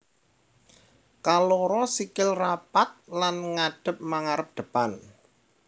Kaloro sikil rapat lan ngadhep mangarep depan